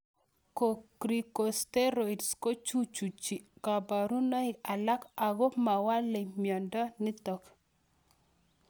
Corticosteroids kochuchuchi kaparunoik alak ako mawelei miondo nitok